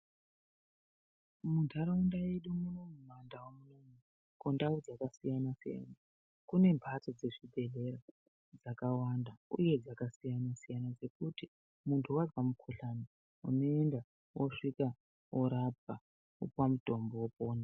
Mundaraunda yedu munomu mundau munomu kundau dzakasiyana siyana kune mbatso dzezvibhehlera dzakawanda uye dzakasiyana siyana dzekuti muntu azwa mukuhlani unoenda wosvika worapwa, wopuwa mutombo, wopona.